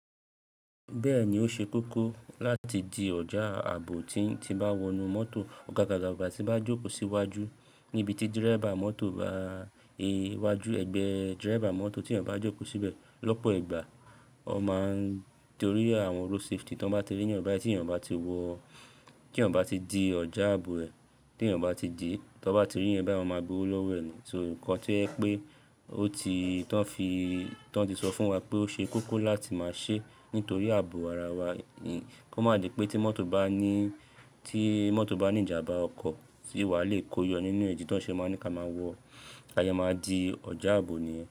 Bẹ́ẹ̀ ni ó ṣe kókó láti di ọjà ààbò tí n ti bá wọnú mọ́tò ọ̀gàgà, ọ̀gàgà tí bá jókòó síwájú níbi tí dírébà mọ́tò bá è wájú, ẹ̀gbẹ́ dírébà mọ́tò tí ènìyàn bá jókòó síbẹ̀ lọ́pọ̀ ìgbà ó máa ń torí àwọn road safety tí wọ́n bá ti rí ẹ̀eyan báyi ti èèyàn o ba ti wọ̀, kí ẹ̀eyan bá ti di ọjà àbò ẹ̀, tí ẹ̀eyan o bá ti dì, tí wọ́n bá ti rí ẹ̀eyàn bai wọ́n máa gbowó lówó ẹ̀ ni. So nǹkan tí yẹ pé ó ti, tí wọ́n ti sọ fún wa pé ó ṣe kókó láti máa ṣe nítorí ààbò ara wa, kí ó má di pé tí mọ́tò bá ní, tí mọ́tò bá ní ìjàmbá ọkọ̀ tí wá lè kóyọ nínú è idi tó ṣe máa ní ká máa wọ, kí a yé máa di ọjà ààbò ni.